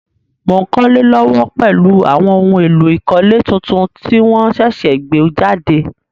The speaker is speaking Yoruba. Mo n kólé lówó pèlu àwon oun éló ìkólé tuntun ti won sẹ̀sẹ̀ gbé jàde